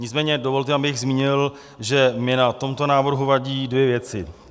Nicméně dovolte, abych zmínil, že mi na tomto návrhu vadí dvě věci.